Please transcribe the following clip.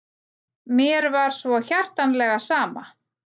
Mér var svo hjartanlega sama.